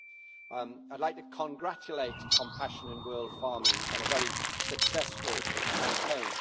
I would like to congratulate Compassion in World Farming on a very successful campaign.